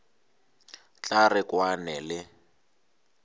tla re o kwane le